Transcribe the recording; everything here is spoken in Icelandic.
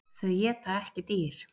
Þau éta ekki dýr.